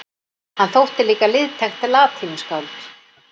Hann þótti líka liðtækt latínuskáld.